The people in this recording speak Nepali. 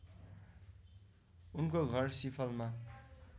उनको घर सिफलमा